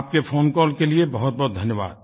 आपके फ़ोनकॉल के लिए बहुतबहुत धन्यवाद